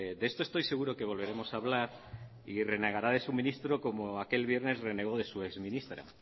de esto estoy seguro que volveremos a hablar y renegará de su ministro como aquel viernes renegó de su exministra